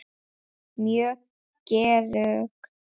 Mjög geðug.